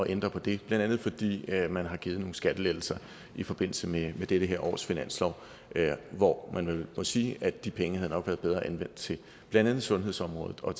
ændre på det blandt andet fordi man har givet nogle skattelettelser i forbindelse med dette års finanslov hvor vi vel må sige at de penge nok havde været bedre anvendt til blandt andet sundhedsområdet og